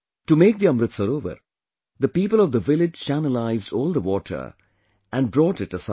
To make the Amrit Sarovar, the people of the village channelized all the water and brought it aside